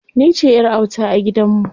Ni ce ƴar auta a gidan mu.